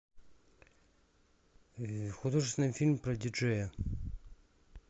художественный фильм про диджея